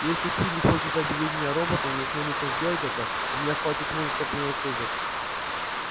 если куинн хочет объявить меня роботом и осмелится сделать это у меня хватит мужества принять вызов